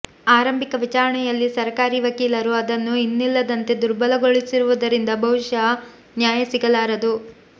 ಆರಂಭಿಕ ವಿಚಾರಣೆಯಲ್ಲಿ ಸರಕಾರಿ ವಕೀಲರು ಅದನ್ನು ಇನ್ನಿಲ್ಲದಂತೆ ದುರ್ಬಲಗೊಳಿಸಿರುವುದರಿಂದ ಬಹುಶಃ ನ್ಯಾಯ ಸಿಗಲಾರದು